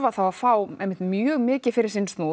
þá fá mjög mikið fyrir sinn snúð